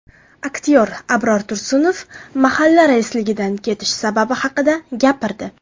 Aktyor Abror Tursunov mahalla raisligidan ketish sababi haqida gapirdi .